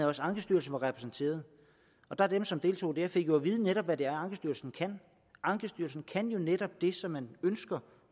også ankestyrelsen var repræsenteret dem som deltog der fik jo at vide netop er ankestyrelsen kan ankestyrelsen kan jo netop det som man ønsker